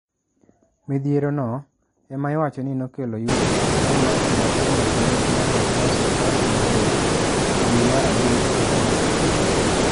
Midhiero no ema iwacho ni nokelo yuto mar maksi matin e penj mar joklas apar gario e dwe mar abich higani.